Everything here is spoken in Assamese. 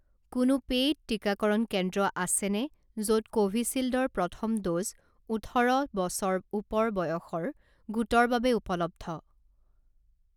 কোনো পেইড টিকাকৰণ কেন্দ্ৰ আছেনে য'ত কোভিচিল্ড ৰ প্ৰথম ড'জ ওঠৰ বছৰ ওপৰ বয়সৰ গোটৰ বাবে উপলব্ধ